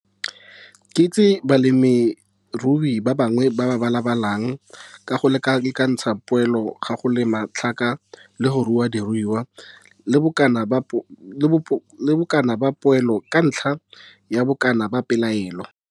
Ke itse balemirui ba bangwe ba ba balabalang ka go lekalekantsha poelo ya go lema tlhaka le go rua diruiwa le bokana ba poelo ka ntlha ya bokana ba peelelo.